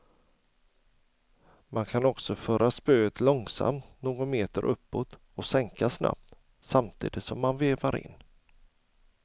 Man kan också föra spöet långsamt någon meter uppåt och sänka snabbt, samtidigt som man vevar in.